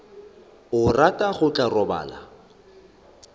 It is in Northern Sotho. a rata o tla robala